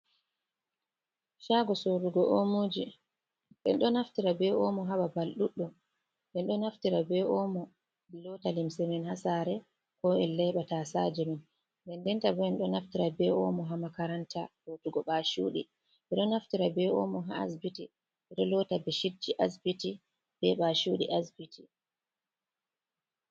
Shago sorugo omoji. En ɗo naftira be omo ha babal ɗuɗɗum en ɗo naftira be omo ha lota limse, min ɗo naftira ha sare ko en laiɓata tasaje men, nden ndenta bo en ɗo naftira be omo ha makaranta lotugo ɓachuɗii, ɗo naftira be omo ha asbiti enɗo lota beshidji asbiti be ɓachuɗii asbiti.